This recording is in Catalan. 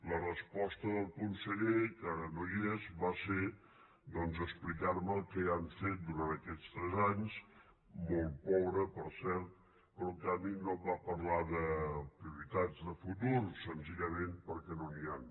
la resposta del conseller que ara no hi és va ser doncs explicar me el que ja han fet durant aquests tres anys molt pobre per cert però en canvi no em va parlar de prioritats de futur senzillament perquè no n’hi han